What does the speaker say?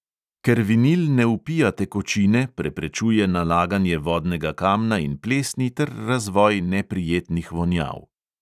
Ker vinil ne vpija tekočine, preprečuje nalaganje vodnega kamna in plesni ter razvoj neprijetnih vonjav.